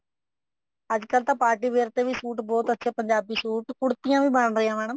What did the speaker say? ਅੱਜਕਲ ਤਾਂ party ਵਗੈਰਾ ਤੇ ਵੀ ਸੂਟ ਬਹੁਤ ਅੱਛੇ ਪੰਜਾਬੀ ਸੂਟ ਕੁੜਤੀਆਂ ਵੀ ਬਣ ਰਹੀਆਂ madam